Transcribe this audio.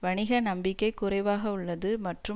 வணிக நம்பிக்கை குறைவாக உள்ளது மற்றும்